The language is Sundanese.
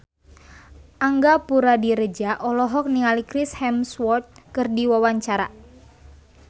Angga Puradiredja olohok ningali Chris Hemsworth keur diwawancara